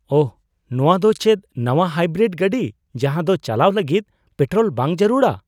ᱳᱦ! ᱱᱚᱶᱟ ᱫᱚ ᱪᱮᱫ ᱱᱟᱶᱟ ᱦᱟᱭᱵᱨᱤᱰ ᱜᱟᱹᱰᱤ ᱡᱟᱦᱟᱸ ᱫᱚ ᱪᱟᱞᱟᱣ ᱞᱟᱹᱜᱤᱫ ᱯᱮᱴᱨᱳᱞ ᱵᱟᱝ ᱡᱟᱹᱨᱩᱲᱟ ?